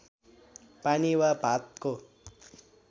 पानी वा भातको